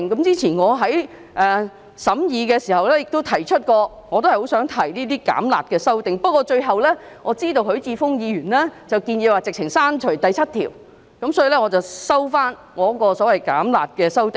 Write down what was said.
早前我在審議時亦曾提出有關意見，我也希望提出這些"減辣"的修正案，但最後我知道許智峯議員建議直接刪去第7條，所以我收回我的修正案。